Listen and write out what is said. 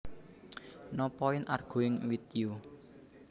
No point arguing with you